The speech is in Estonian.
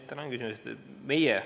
Tänan küsimuse eest!